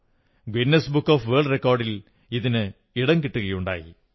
Guinness book of world റെക്കോഡ്സിൽ അതിന് ഇടം കിട്ടുകയുണ്ടായി